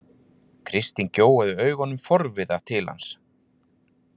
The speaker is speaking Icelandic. Kristín gjóaði augunum forviða til hans.